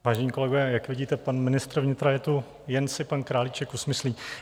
Vážení kolegové, jak vidíte, pan ministr vnitra je tu, jen si pan Králíček usmyslí.